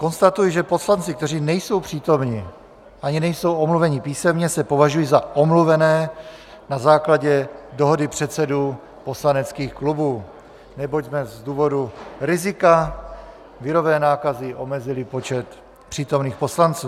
Konstatuji, že poslanci, kteří nejsou přítomni ani nejsou omluveni písemně, se považují za omluvené na základě dohody předsedů poslaneckých klubů, neboť jsme z důvodu rizika virové nákazy omezili počet přítomných poslanců.